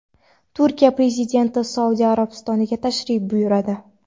Turkiya prezidenti Saudiya Arabistoniga tashrif buyuradi.